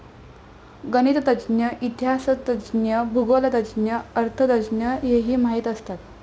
गणितज्ज्ञ, इतिहासतज्ज्ञ, भूगोलतज्ज्ञ, अर्थतज्ज्ञ, हेही माहित असतात.